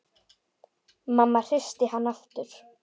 Mamma hristi hann aftur.